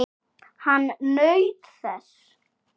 Hann naut þess.